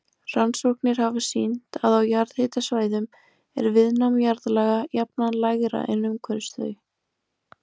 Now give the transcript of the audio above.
Rannsóknir hafa sýnt að á jarðhitasvæðum er viðnám jarðlaga jafnan lægra en umhverfis þau.